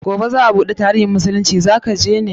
Gobe za a bada tarihin musulunci, za ka je?